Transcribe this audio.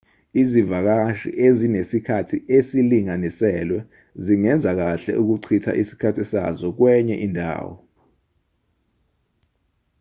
izivakashi ezinesikhathi esilinganiselwe zingenza kahle ukuchitha isikhathi sazo kwenye indawo